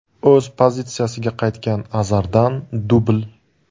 O‘z pozitsiyasiga qaytgan Azardan dubl.